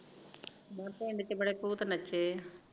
ਮੈਂ ਕਿਹਾ ਚ ਪਿੰਡ ਚ ਬੜੇ ਭੁਤ ਨਚੇ ਐ